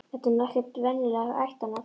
Þetta er nú ekkert venjulegt ættarnafn.